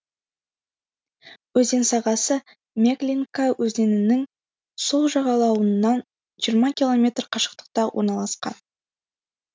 өзен сағасы меглинка өзенінің сол жағалауынан жиырма километр қашықтықта орналасқан